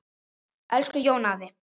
Elsku Jón afi.